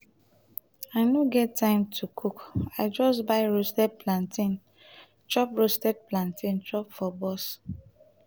i no get time to cook i just buy roasted plantain chop roasted plantain chop for bus.